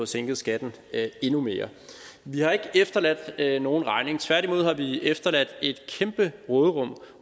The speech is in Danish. sænket skatten endnu mere vi har ikke efterladt nogen regning tværtimod har vi efterladt et kæmpe råderum